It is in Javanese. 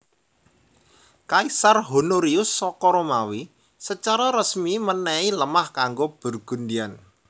Kaisar Honorius saka Romawi secara resmi menehi lemah kanggo Burgundian